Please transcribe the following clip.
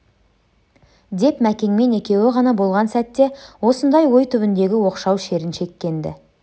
деп мәкенмен екеуі ғана болған сәтте осындай ой түбіндегі оқшау шерін шеккен-ді